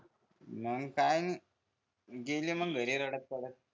मंग काय नि गेली मंग घरी रडत रडत